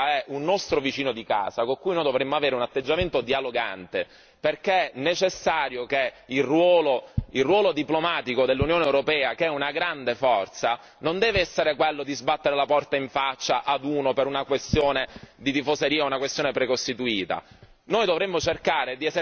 Però, ricordiamoci sempre che la Russia è un nostro vicino di casa, con cui noi dovremmo avere un atteggiamento dialogante, perché è necessario che il ruolo diplomatico dell'Unione europea che è una grande forza non deve essere quello di sbattere la porta in faccia a uno per una questione di tifoseria o una questione precostituita.